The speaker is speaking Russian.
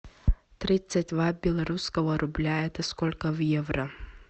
тридцать два белорусского рубля это сколько в евро